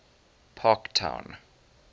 parktown